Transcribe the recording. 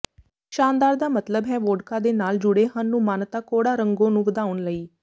ਸ਼ਾਨਦਾਰ ਦਾ ਮਤਲਬ ਹੈ ਵੋਡਕਾ ਦੇ ਨਾਲ ਜੁੜੇਹਨ ਨੂੰ ਮਾਨਤਾ ਕੌੜਾ ਰੰਗੋ ਨੂੰ ਵਧਾਉਣ ਲਈ